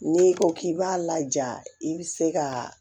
N'i ko k'i b'a laja i bɛ se ka